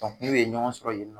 n'u ye ɲɔgɔn sɔrɔ yen nɔ